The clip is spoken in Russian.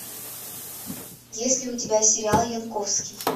есть ли у тебя сериал янковский